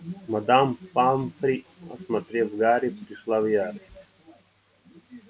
мадам помфри осмотрев гарри пришла в ярость